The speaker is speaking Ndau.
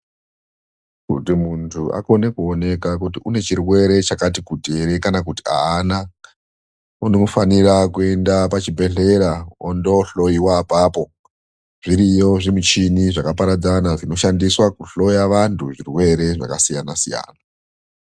Kuti munthu akone kuoneka kuti ane chirwere chakati kuti ere kana kuti haana, unofanire kuende pachibhedhera ondohloyiwa apapo. Zviriyo zvimichini zvakaparadzana zvinoshandiswa kuhloya vanhu zvirwere zvakasiyana siyana